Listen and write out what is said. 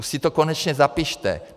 Už si to konečně zapište.